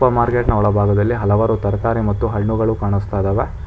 Market ನ ಒಳಭಾಗದಲ್ಲಿ ಹಲವಾರು ತರಕಾರಿ ಮತ್ತು ಹಣ್ಣುಗಳು ಕಾಣಿಸ್ತಾ ಇದ್ದಾವೆ.